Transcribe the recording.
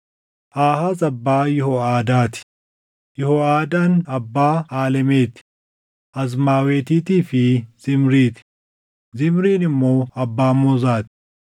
Aahaaz abbaa Yihoʼaadaa ti; Yihooʼadaan abbaa Aalemeti, Azmaawetiitii fi Zimrii ti; Zimriin immoo abbaa Moozaa ti.